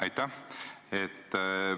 Aitäh!